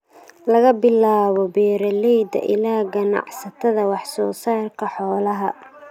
laga bilaabo beeralayda ilaa ganacsatada wax soo saarka xoolaha.